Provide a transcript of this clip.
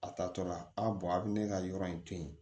A tatɔla a a bɛ ne ka yɔrɔ in to yen